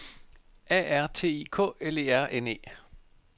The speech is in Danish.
A R T I K L E R N E